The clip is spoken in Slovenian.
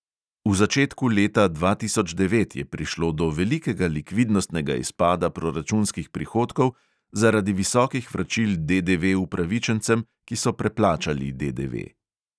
V začetku leta dva tisoč devet je prišlo do velikega likvidnostnega izpada proračunskih prihodkov zaradi visokih vračil DDV upravičencem, ki so preplačali DDV.